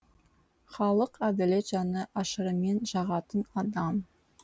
халыққа әділет жаны ашырымен жағатын адам